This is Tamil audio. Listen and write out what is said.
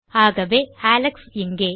ஆகவே அலெக்ஸ் இங்கே